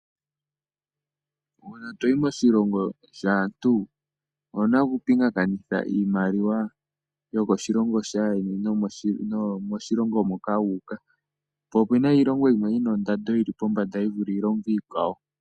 Ngele toyi moshilongo shaantu owuna okupingakanitha iimaliwa yokoshilongo shaayeni noyomoshilongo moka wuuka, po opena iilongo yimwe yina ondando yili pombanda yivule iilongo iikwawo.